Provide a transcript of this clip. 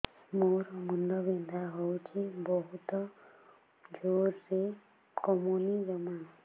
ମୋର ମୁଣ୍ଡ ବିନ୍ଧା ହଉଛି ବହୁତ ଜୋରରେ କମୁନି ଜମା